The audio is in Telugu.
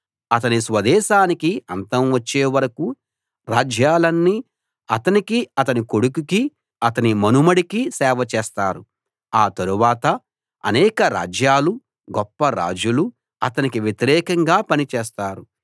అతని స్వదేశానికి అంతం వచ్చే వరకూ రాజ్యాలన్నీ అతనికీ అతని కొడుకుకీ అతని మనుమడికీ సేవ చేస్తారు ఆ తర్వాత అనేక రాజ్యాలూ గొప్ప రాజులూ అతనికి వ్యతిరేకంగా పనిచేస్తారు